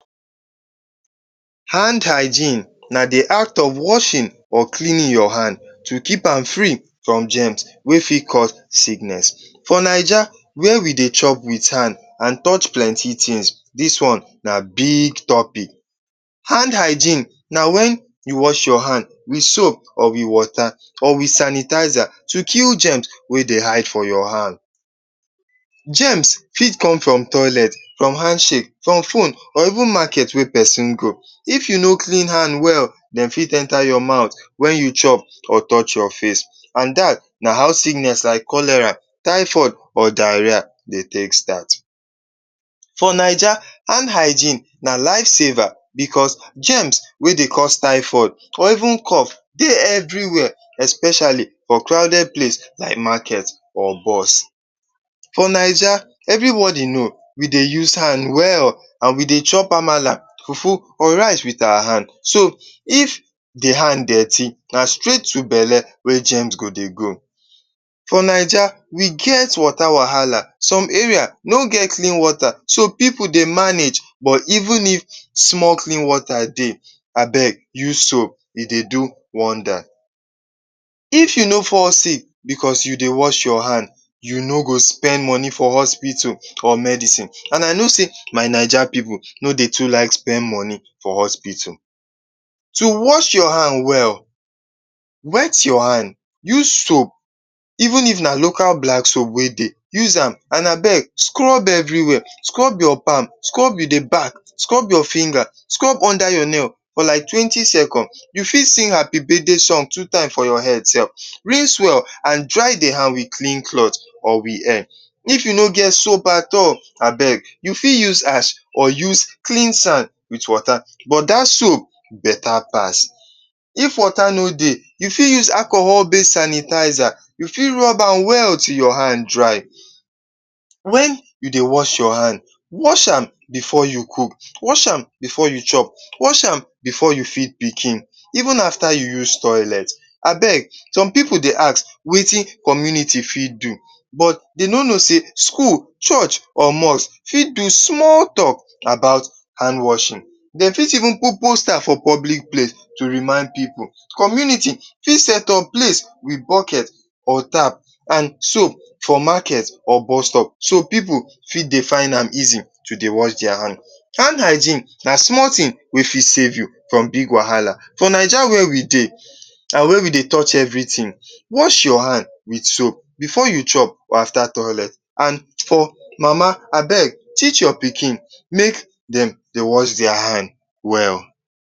Hand hygiene na the act of washing or cleaning your hand to keep am free from germs wey fit cause sickness. For Naija where we dey chop with hand an touch plenty tins, dis one na big topic. Hand hygiene na wen you wash your hand with soap or with water or with sanitizer to kill germs wey dey hide for your hand. Germs fit come from toilet, from handshake, from phone, or even market wey peson go. If you no clean hand well, de fit enter your mouth wen you chop or touch your face, an dat na how sickness like cholera, typhoid, or diarrhea dey take start. For Naija, hand hygiene na lifesaver becos germs wey dey cause typhoid or even cough dey everywhere especially for crowded place like market, or bus. For Naija, everybody know we dey use hand well, an we dey chop amala, fufu, or rice with our hand. So, if the hand dirty, na straight to belle wey germs go dey go. For Naija, we get water wahala. Some area no get clean water, so pipu dey manage. But even if small clean water dey, abeg use soap, e dey do wonder. If you no fall sick becos you dey wash your hand, you no go spend money for hospital or medicine. An I know sey my Naija pipu no dey too like spend money for hospital. To wash your handwell: wet your hand, use soap, even if na local black soap wey dey, use am, an abeg scrub everywhere—scrub your palm, scrub the back, scrub your finger, scrub under your nail for like twenty seconds. You fit sing Happy Birthday song two time for your head sef. Rinse well, an dry the hand with clean cloth or with air. If you no get soap at all, abeg you fit use ash or use clean sand with water, but dat soap beta pass. If water no dey, you fit use alcohol-based sanitizer. You fit rub am well till your hand dry. Wen you dey wash your hand? Wash am before you cook, wash am before you chop, wash am before you feed pikin, even after you use toilet. Abeg some pipu dey ask “Wetin commuity fit do?” but de no know sey school, church, or mosque fit do small talk about hand washing. De fit even put poster for public place to remind pipu. Community fit set up place with bucket or tap an soap for market or bus stop so pipu fit dey find am easy to dey wash dia hand. Hand hygiene na small tin wey fit save you from bigger wahala. For Naija where we dey an where we dey touch everything, wash your hand with soap before you chop or after toilet. An for mama, abeg teach your pikin make dem dey wash dia hand well.